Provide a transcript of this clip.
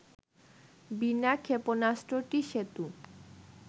বিনা ক্ষেপণাস্ত্রটি সেতু